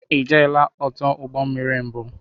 Ijeela ọdụ ụgbọ mmiri mbụ?